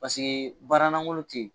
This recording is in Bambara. Paseke baara langolo tɛ yen.